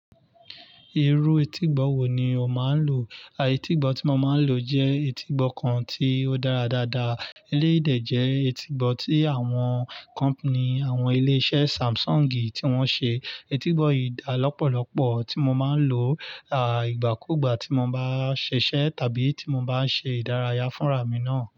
Irú etígbọ̀ wo ni o máa ń lò? Etígbọ̀ tí mo máa ń lò jẹ́ etígbọ̀ kan tí ó dára dáadáa. Eléyìí dẹ̀ jẹ́ etígbọ̀ tí àwọn kọ̀mpání, àwọn ilé iṣẹ́ Samsung tí wọ́n ṣe. Etígbọ̀ yìí dáa lọ́pọ̀lọ́pọ̀ tí mo máa ń lò, ìgbàkúùgbà tí mo bá ṣiṣẹ́ tàbí tí mo bá ń ṣe ìdárayá fún ràmi náà.